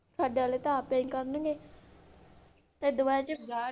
ਸਾਡੇ ਵਾਲੇ ਤਾਂ ਆਪੇ ਹੀ ਕਰਨਗੇ .